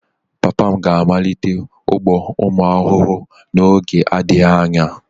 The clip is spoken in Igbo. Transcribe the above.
Papa m ga-amalite ugbo ụmụ ahụhụ n'oge na-adịghị anya